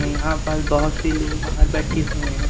यहां पास बहोत से लोग बाहर बैठे हुए हैं।